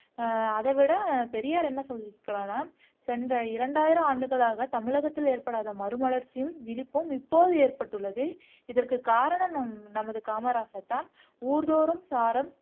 ஹம் அதைவிட பெரியார் என்ன சொல்லி இருக்கிறார்னா சென்ற இரண்டாயிரம் ஆண்டுகளாக தமிழகத்தில் ஏற்படாத மறுமலர்ச்சியும் விழிப்பும் இப்போது ஏற்பட்டுள்ளது இதற்கு காரணம் நம் நமது காமராசர் தான் ஊர் தோறும் சாரம்